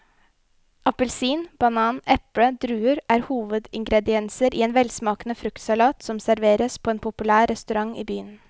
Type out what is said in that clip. Appelsin, banan, eple og druer er hovedingredienser i en velsmakende fruktsalat som serveres på en populær restaurant i byen.